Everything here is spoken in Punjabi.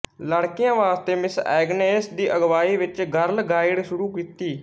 ਲੜਕੀਆਂ ਵਾਸਤੇ ਮਿਸ ਐਗਨੇਸ ਦੀ ਅਗਵਾਈ ਵਿੱਚ ਗਰਲ ਗਾਈਡ ਸ਼ੁਰੂ ਕੀਤੀ